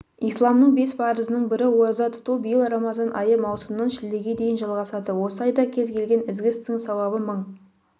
исламның бес парызының бірі ораза тұту биыл рамазан айы маусымнан шілдеге дейін жалғасады осы айда кез келген ізгі істің сауабы мың